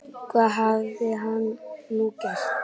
Hvað hafði hann nú gert?